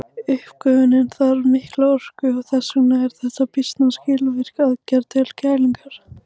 Uppgufunin þarf mikla orku og þess vegna er þetta býsna skilvirk aðferð til kælingar.